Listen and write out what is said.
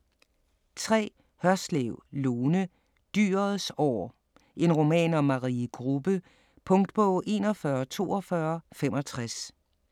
3. Hørslev, Lone: Dyrets år: en roman om Marie Grubbe Punktbog 414265